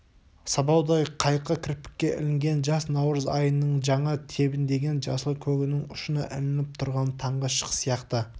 сабаудай қайқы кірпікке ілінген жас наурыз айының жаңа тебіндеген жасыл көгінің ұшына ілініп тұрған таңғы шық сияқты